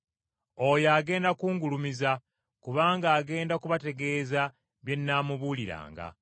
Oyo agenda kungulumiza, kubanga agenda kubategeeza bye nnaamubuuliranga.